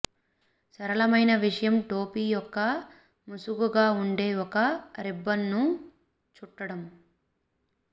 సరళమైన విషయం టోపీ యొక్క ముసుగుగా ఉండే ఒక రిబ్బన్ను చుట్టడం